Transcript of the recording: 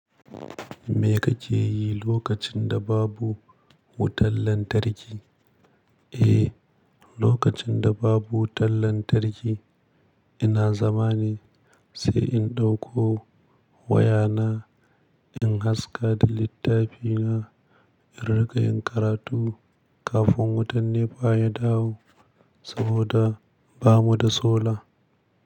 Me kake yi lokacin da babu wutar lantarki? Eh, lokacin da babu wutan lantarki, ina zama ne, sai in ɗauko wayana in haska da littafina, in riƙa yin karatu kafin wutan NEPA ya dawo saboda, ba mu da sola.